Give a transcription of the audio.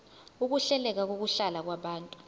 ukuhleleka kokuhlala kwabantu